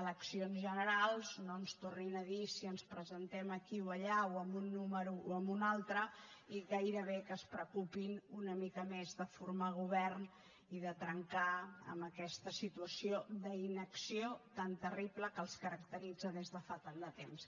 eleccions generals no ens tornin a dir si ens presentem aquí o allà o amb un número o amb un altre i gairebé que es preocupin una mica més de formar govern i de trencar amb aquesta situació d’inacció tan terrible que els caracteritza des de fa tant de temps